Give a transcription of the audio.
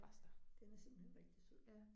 Den er simpelthen rigtig sød